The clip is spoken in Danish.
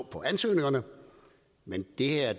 på ansøgningerne men det her